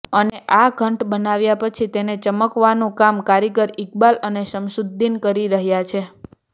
અને આ ઘંટ બનાવ્યા પછી તેને ચમકાવવાનું કામ કારીગર ઇકબાલ અને શમશુદ્દીન કરી રહ્યા છે